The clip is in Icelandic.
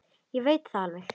Ég veit það alveg.